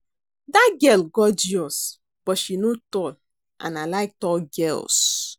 Dat girl gorgeous but she no tall and I like tall girls